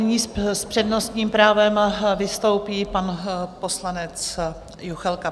Nyní s přednostním právem vystoupí pan poslanec Juchelka.